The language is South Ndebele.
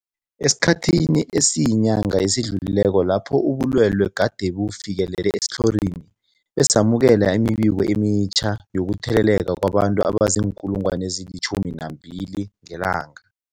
Esikhathini esiyinyanga esidlulileko lapho ubulwele gade bufikelele esitlhorini, besamukela imibiko emitjha yokutheleleka kwabantu abazii-12 000 ngelanga.